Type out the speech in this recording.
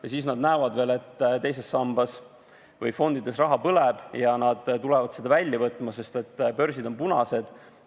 Ja siis nad näevad veel, et teises sambas või fondides raha põleb ja nad kiirustavad seda välja võtma, sest börsid on punased.